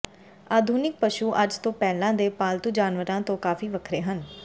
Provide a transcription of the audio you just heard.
ਆਧੁਨਿਕ ਪਸ਼ੂ ਅੱਜ ਤੋਂ ਪਹਿਲਾਂ ਦੇ ਪਾਲਤੂ ਜਾਨਵਰਾਂ ਤੋਂ ਕਾਫ਼ੀ ਵੱਖਰੇ ਹਨ